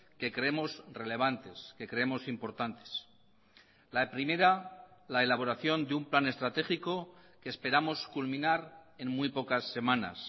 que creemos relevantes que creemos importantes la primera la elaboración de un plan estratégico que esperamos culminar en muy pocas semanas